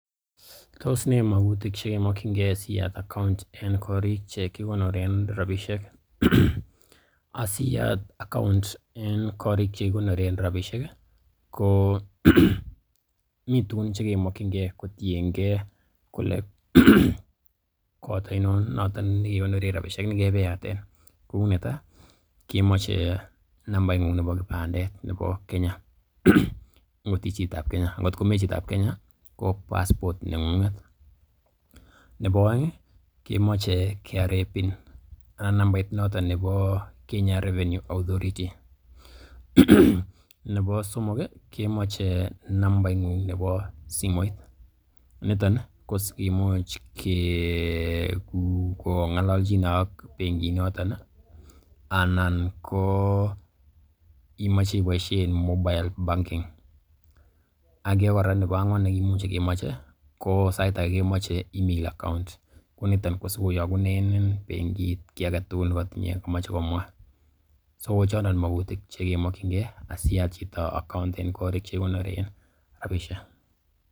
Tos ne magutik che kimokinge siyat account en koriik che kikonoren rabisiek. Asiyat account en koriik che kigonoren rabishek ko mitugun che kemokinge kotienge kole kot oinon notet ne kekonoren rabishek ne kebeyaten. Ko netai kemoche nambaing'ung nebo kipandet nebo Kenya angot ii chitab Kenya, angot ko mebo Kenya ko passport neng'ung'et, nebo oeng, kemoche KRA PIN anan ko nambait noton nebo Kenya Rvenue Authority nebo somok, kemoche nambaing'ung nebo simoit, niton kosikiuch ong'alalchine ak bengit noton anan ko imoche iboisien mobile banking age kora nebo angwan nekimuche kemoche, ko sait age kemoche email account ko niton ko sikoyokunenin bengit kiy age tugul ne kotinye komoche komwa, so ko chondon magutik che kemokinge asiyat chito account en korik che kigonoren rabishek.